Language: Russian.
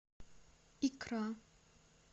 икра